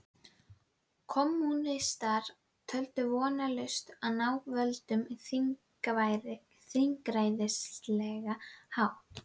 Kommúnistar töldu vonlaust að ná völdum á þingræðislegan hátt.